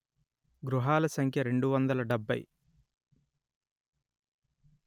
గృహాల సంఖ్య రెండు వందలు డెబ్బై